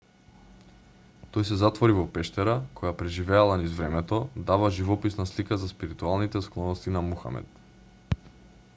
тој се затвори во пештера која преживела низ времето дава живописна слика за спиритуалните склоности на мухамед